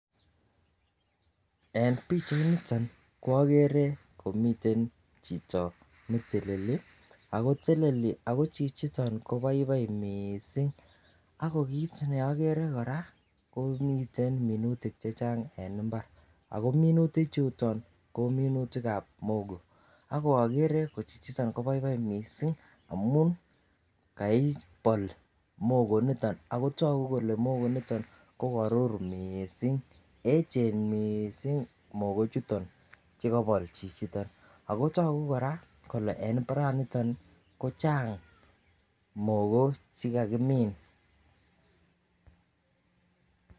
En pichainiton ko okere komiten chito neteleli ako teleli ako chichiton ko baibai missing ako kit ne okere Koraa ko miten minutik che Chang en imbar ako minutik chuton ko minutikab mogo, ak okere ko chichiton ko baibai missing amun kaibol mogo niton akotoku kole mogo niton ko korur missing enchen missing mogo chuton chukobol chichiton. Ako toku Koraa kole en imbaraniton ko chang mogo chekakimin.